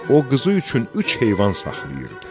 O qızı üçün üç heyvan saxlayırdı.